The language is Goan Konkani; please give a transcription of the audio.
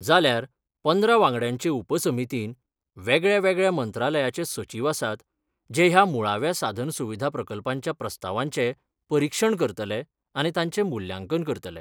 जाल्यार पंदरा वांगड्यांचे उपसमितीन वेगळ्यावेगळ्या मंत्रालयाचे सचीव आसात जे ह्या मुळाव्या साधन सुविधा प्रकल्पांच्या प्रस्तावांचे परिक्षण करतले आनी तांचे मुल्यांकन करतले.